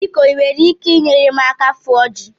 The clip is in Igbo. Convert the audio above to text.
Biko ị nwere ike nyere m aka fụọ ji?